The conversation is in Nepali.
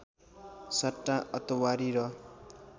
सट्टा अतवारी र